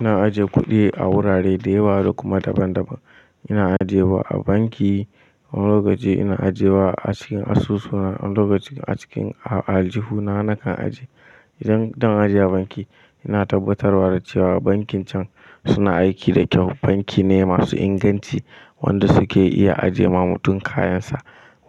Ina ajiye kuɗi a wurare da yawa, da kuma daban-daban. Ina ajiye wa a banki wani lokaci, ina ajiye wa a cikin asusu wani lokaci, a cikin aljihu na nakan ajiye. Idan zan ajiye a banki, ina tabbatarwa da cewa bankin can suna aiki da kyau. Banki ne masu inganci wanda suke iya ajiye ma mutum kayansa